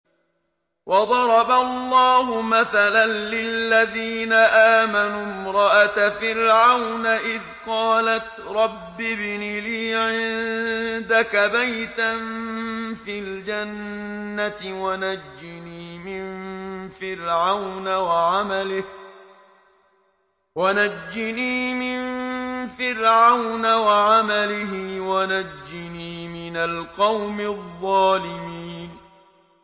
وَضَرَبَ اللَّهُ مَثَلًا لِّلَّذِينَ آمَنُوا امْرَأَتَ فِرْعَوْنَ إِذْ قَالَتْ رَبِّ ابْنِ لِي عِندَكَ بَيْتًا فِي الْجَنَّةِ وَنَجِّنِي مِن فِرْعَوْنَ وَعَمَلِهِ وَنَجِّنِي مِنَ الْقَوْمِ الظَّالِمِينَ